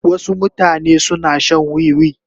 Wasu mutane suna shan wiwi.